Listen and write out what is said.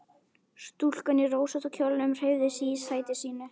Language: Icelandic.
Stúlkan í rósótta kjólnum hreyfði sig í sæti sínu.